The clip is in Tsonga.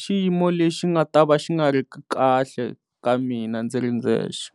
xiyimo lexi nga ta va xi nga ri kahle ka mina ndzi ri ndzexe.